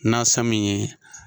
Nansa min ye.